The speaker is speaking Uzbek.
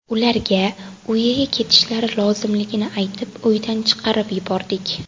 Ularga uyiga ketishlari lozimligini aytib, uydan chiqarib yubordik.